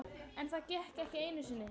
En það gekk ekki einu sinni.